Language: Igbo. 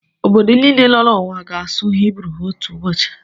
Obodo niile nọ n'ụwa ga-asụ Hibru otu ụbọchị.